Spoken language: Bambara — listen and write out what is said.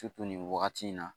nin wagati in na